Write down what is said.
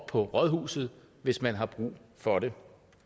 på rådhuset hvis man har brug for det